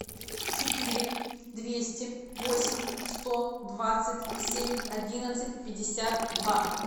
четыре двести восемь сто двадцать семь одиннадцать пятьдесят два